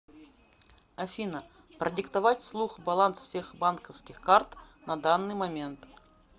афина продиктовать вслух баланс всех банковских карт на данный момент